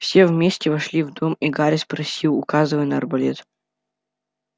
все вместе вошли в дом и гарри спросил указывая на арбалет